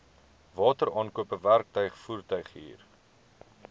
wateraankope werktuig voertuighuur